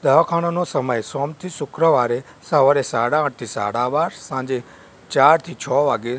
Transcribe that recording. દવાખાનાનો સમય સોમ થી શુક્રવારે સવારે સાડા આઠ થી સાડા બાર સાંજે ચાર થી છ વાગે--